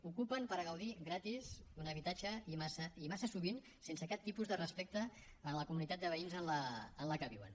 ocupen per gaudir gratis d’un habitatge i massa sovint sense cap tipus de respecte a la comunitat de veïns en la que viuen